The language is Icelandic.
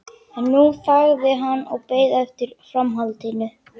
En nú þagði hann og beið eftir framhaldinu.